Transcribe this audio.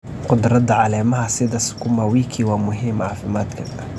Khudradda caleemaha sida sukuuma wiki waa muhiim caafimaadka.